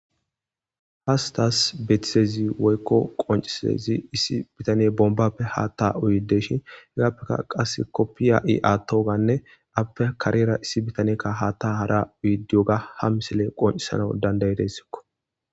Hastas betisezi woykko qoncisezi issi bitaniye bombappe haatta uyideshin hegappeka qass koppiya'i-aattoganne appe kareera issi bitaneyekka haatta hara uyidiyoga ha misilen qoncisana dandayi dessikko.